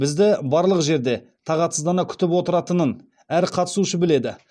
бізді барлық жерде тағатсыздана күтіп отыратынын әр қатысушы біледі